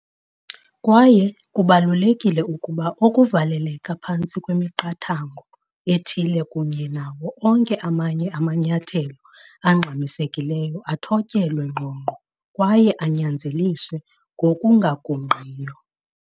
Kwaye kubalulekile ukuba oku kuvaleleka phantsi kwemiqathango ethile kunye nawo onke amanye amanyathelo angxamisekileyo athotyelwe ngqongqo kwaye anyanzeliswe ngokungagungqiyo.